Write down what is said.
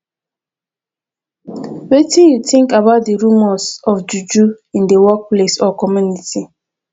wetin you think about di remors of juju in di workplace or community